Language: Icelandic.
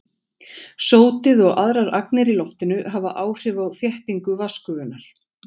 Sótið og aðrar agnir í loftinu hafa áhrif á þéttingu vatnsgufunnar.